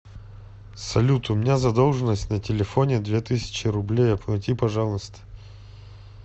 салют у меня задолженность на телефоне две тысячи рублей оплати пожалуйста